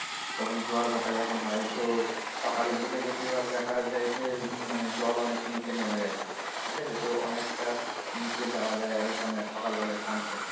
তখন জোয়ার ভাটা যখন হয় তো সকালের দিকে বেশির ভাগ দেখা যায় যে মানে জল অনেক নীচে গেছে ঠিক আছে তো অনেক টা নীচে যাওয়া যায় আর ওখানে সকাল বেলায় sunset